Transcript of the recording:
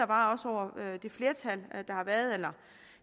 var over det flertal eller